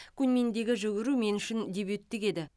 куньминдегі жүгіру мен үшін дебюттік еді